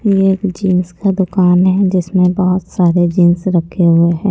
ये एक जींस का दुकान है जिसमें बहुत सारे जींस रखे हुए हैं।